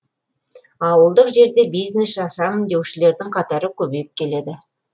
ауылдық жерде бизнес ашамын деушілердің қатары көбейіп келеді